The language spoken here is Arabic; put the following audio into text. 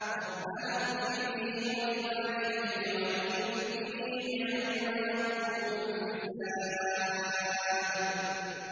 رَبَّنَا اغْفِرْ لِي وَلِوَالِدَيَّ وَلِلْمُؤْمِنِينَ يَوْمَ يَقُومُ الْحِسَابُ